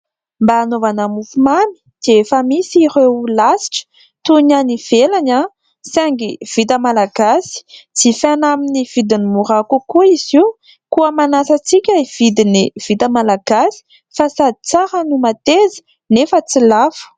Mba hanaovana mofomamy dia efa misy ireo lasitra toy ny any ivelany, saingy vita malagasy, jifaina amin'ny vidiny mora kokoa izy io. Koa manasa antsika hividy ny vita malagasy fa sady tsara no mateza, nefa tsy lafo.